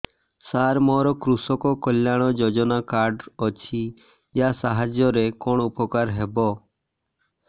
ସାର ମୋର କୃଷକ କଲ୍ୟାଣ ଯୋଜନା କାର୍ଡ ଅଛି ୟା ସାହାଯ୍ୟ ରେ କଣ ଉପକାର ହେବ